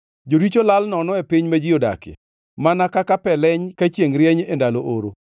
Joricho lal nono e piny ma ji odakie, mana kaka pe leny ka chiengʼ rieny e ndalo oro.